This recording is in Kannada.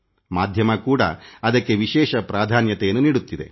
ಮಾಧ್ಯಮ ಕೂಡಾ ಅದಕ್ಕೆ ವಿಶೇಷ ಪ್ರಾಧಾನ್ಯತೆಯನ್ನು ನೀಡುತ್ತದೆ